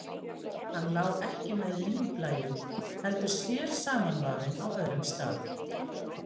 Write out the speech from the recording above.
Hann lá ekki með línblæjunum, heldur sér samanvafinn á öðrum stað.